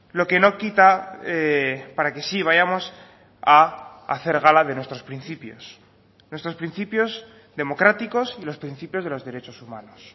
lo que no quita para que sí vayamos a hacer gala de nuestros principios nuestros principios democráticos y los principios de los derechos humanos